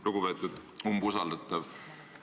Lugupeetud umbusaldatav!